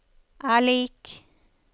er lik